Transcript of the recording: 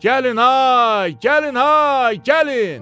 Gəlin ay, gəlin ay, gəlin!